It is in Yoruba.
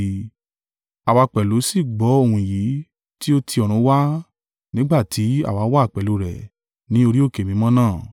Àwa pẹ̀lú sì gbọ́ ohun yìí tí ó ti ọ̀run wá nígbà tí àwa wà pẹ̀lú rẹ̀ ní orí òkè mímọ́ náà.